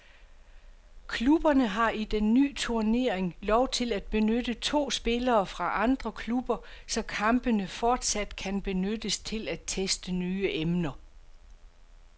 Klubberne har i den ny turnering lov til at benytte to spillere fra andre klubber, så kampene fortsat kan benyttes til at teste nye emner.